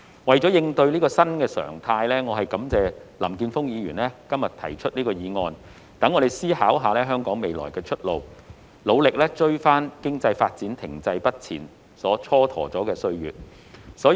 為了應對這個新常態，我感謝林健鋒議員今天提出這項議案，讓我們思考香港未來的出路，努力追回經濟發展停滯不前所蹉跎的歲月。